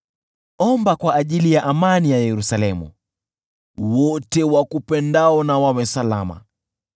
Omba kwa ajili ya amani ya Yerusalemu: “Wote wakupendao na wawe salama.